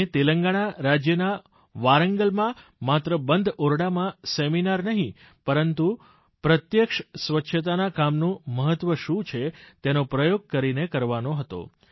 અને તેલંગાણા રાજ્યના વારાંગલમાં માત્ર બંધ ઓરડામાં સેમિનાર નહીં પરંતુ પ્રત્યક્ષ સ્વચ્છતાના કામનું મહત્વ શું છે તેનો પ્રયોગ કરીને કરવાનો હતો